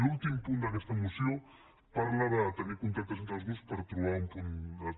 l’últim punt d’aquesta moció parla de tenir contactes entre els grups per trobar un punt